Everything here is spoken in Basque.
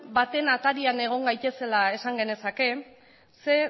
baten atarian egon gaitezela esan genezake zeren